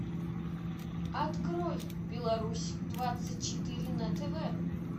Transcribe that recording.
открой беларусь двадцать четыре на тв